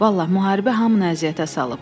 Vallaha, müharibə hamını əziyyətə salıb.